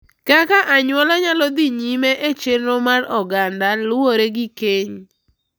Kaka anyuola nyalo dhi nyime e chenro mar oganda, luwore gi keny;